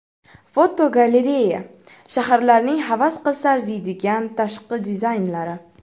Fotogalereya: Shaharlarning havas qilsa arziydigan tashqi dizaynlari.